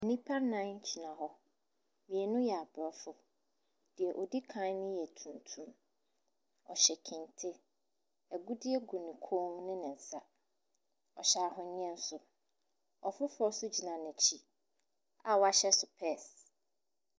Nnipa nnan gyina hɔ. mmienu yɛ Aborɔfo. Deɛ ɔdi kan no yɛ tuntum. Ↄhyɛ kente. Agudeɛ gu ne kɔn mu ne ne nsa. Ↄhyɛ ahweneɛ nso. Ↄfoforɔ nso gyina n’akyi a wahyɛ sopɛɛse.